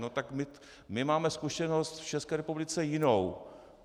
No tak my máme zkušenost v České republice jinou.